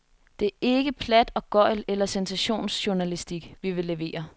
Det er ikke plat og gøgl eller sensationsjournalistik, vi vil levere.